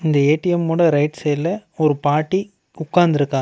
இந்த ஏ_டி_எம் ஓட ரைட் சைடுல ஒரு பாட்டி உக்காந்துருக்காங்க.